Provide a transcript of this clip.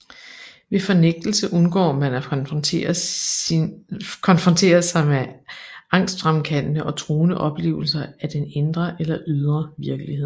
Ved fornægtelse undgår man at konfrontere sig med angstfremkaldende og truende oplevelser af den indre eller ydre virkelighed